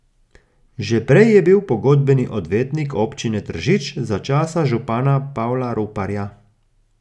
Že prej je bil pogodbeni odvetnik občine Tržič za časa župana Pavla Ruparja.